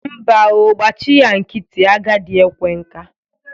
Mba o, gbachị ya nkịtị. Agadị ekwe nka.